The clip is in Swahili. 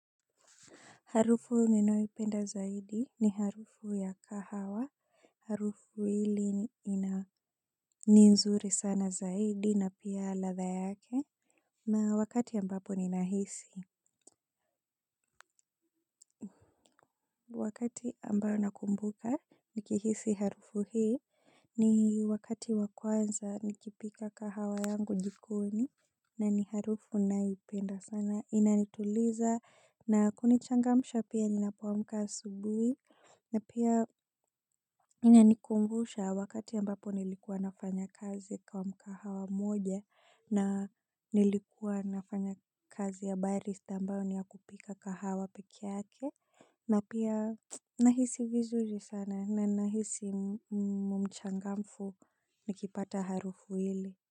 Harufu ninayoipenda zaidi ni harufu ya kahawa. Harufu hili ni nzuri sana zaidi na pia ladha yake. Na wakati ambapo ninahisi. Wakati ambayo nakumbuka nikihisi harufu hii ni wakati wa kwanza nikipika kahawa yangu jikoni. Na ni harufu naipenda sana. Inanituliza na kunichangamsha pia ninapoamka asubuhi na pia inanikumbusha wakati ambapo nilikuwa nafanya kazi kwa mkahawa moja na nilikuwa nafanya kazi ya barista ambayo ni ya kupika kahawa peke yake na pia nahisi vizuri sana na nahisi mchangamfu nikipata harufu hili.